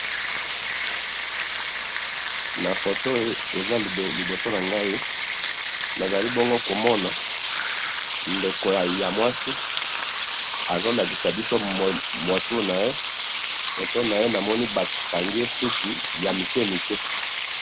Na foto oyo eza liboso nangayi, nazali bongo komona, ndeko yamwasi azolakisa biso mutu naye, foto naye namoni bakangiye suki yamikemike.